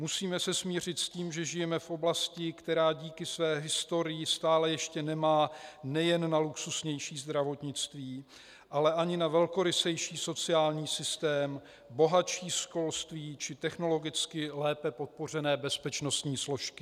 Musíme se smířit s tím, že žijeme v oblasti, která díky své historii stále ještě nemá nejen na luxusnější zdravotnictví, ale ani na velkorysejší sociální systém, bohatší školství či technologicky lépe podpořené bezpečnostní složky.